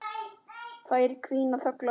Þær hvína þöglar.